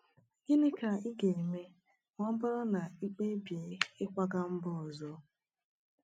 Gịnị ka ị ga-eme ma ọ bụrụ na ị kpebie ịkwaga mba ọzọ?